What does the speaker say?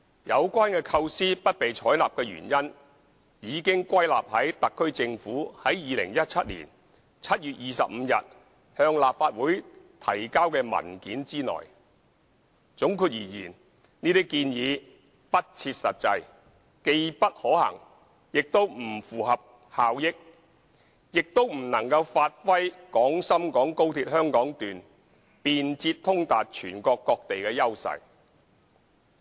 有關構思不被採納的原因已歸納於特區政府於2017年7月25日向立法會提交的文件之內，總括而言，這些建議不切實際、既不可行，也不符合效益，亦不能發揮廣深港高鐵香港段便捷通達全國各地的優勢。